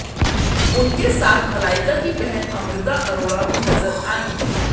उनके साथ मलाइका की बहन अमृता अरोड़ा भी नजर आईं